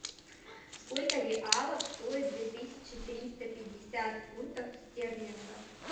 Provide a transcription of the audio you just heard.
сколько реалов стоит две тысячи триста пятьдесят фунтов стерлингов